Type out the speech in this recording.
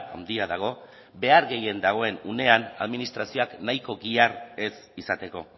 handia dago behar gehien dagoen unean administrazioak nahiko gihar ez izateko